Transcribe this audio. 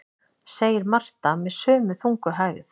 segir Marta með sömu þungu hægð.